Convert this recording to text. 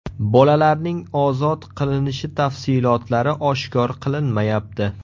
Bolalarning ozod qilinishi tafsilotlari oshkor qilinmayapti.